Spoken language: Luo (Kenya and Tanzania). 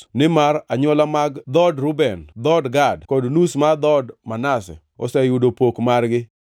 nimar anywola mag dhood Reuben, dhood Gad, kod nus mar dhood Manase oseyudo pok margi.